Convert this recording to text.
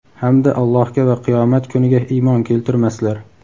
Hamda Allohga va qiyomat kuniga iymon keltirmaslar.